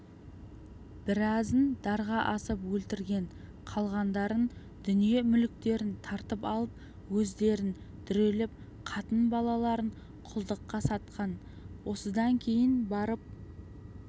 біразын дарға асып өлтірген қалғандарын дүние-мүліктерін тартып алып өздерін дүрелеп қатын-балаларын құлдыққа сатқан осыдан кейін барып